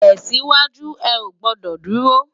Tèsiwájú, è ó gbòdò dúró